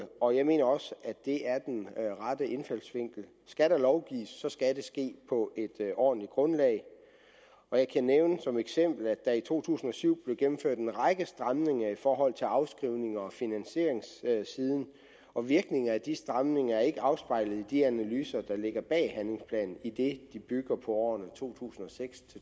og jeg mener også at det er den rette indfaldsvinkel skal der lovgives skal det ske på et ordentligt grundlag jeg kan som eksempel nævne at der i to tusind og syv blev gennemført en række stramninger i forhold til afskrivnings og finansieringssiden og virkningen af de stramninger er ikke afspejlet i de analyser der ligger bag handlingsplanen idet de bygger på årene to tusind og seks